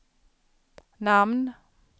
namn